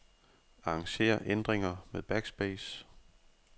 Arranger ændringer med backspace.